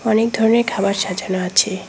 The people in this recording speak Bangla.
অনেক ধরনের খাবার সাজানো আছে।